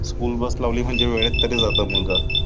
School bus लावली म्हणजे वेळेवर तरी जातात मूलगा